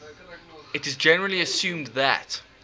it is generally assumed that